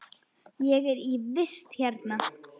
Ég er í vist hérna.